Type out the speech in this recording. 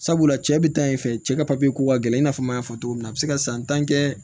Sabula cɛ bɛ taa yen fɛ cɛ ka papiye ko ka gɛlɛn i n'a fɔ n y'a fɔ cogo min na a bɛ se ka san tan kɛ